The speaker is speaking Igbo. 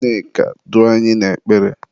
Nneka, duo anyị n'ekpere!